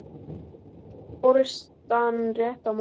Tók forystan rétt á málinu?